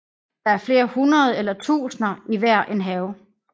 Der er flere hundrede eller tusinder i hver en have